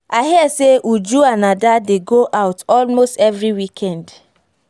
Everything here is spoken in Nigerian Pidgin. i hear say uju and ada dey go out almost every weekend